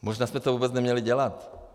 Možná jste to vůbec neměli dělat.